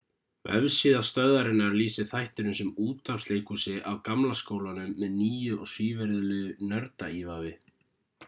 vefsíða stöðvarinnar lýsir þættinum sem útvarpsleikhúsi af gamla skólanum með nýju og svívirðilegu nördaívafi